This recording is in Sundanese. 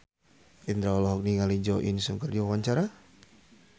Indro olohok ningali Jo In Sung keur diwawancara